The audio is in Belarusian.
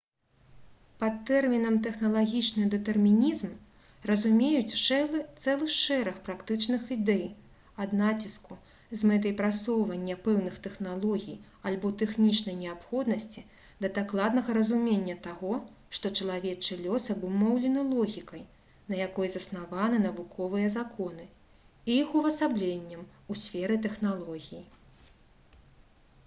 под тэрмінам «тэхналагічны дэтэрмінізм» разумеюць цэлы шэраг практычных ідэй ад націску з мэтай прасоўвання пэўных тэхналогій альбо тэхнічнай неабходнасці да дакладнага разумення таго што чалавечы лёс абумоўлены логікай на якой заснаваны навуковыя законы і іх увасабленнем у сферы тэхналогій